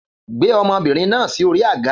Gbé ọmọbìnrin náà sí orí àga